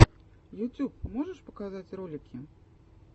ютюб можешь показать ролики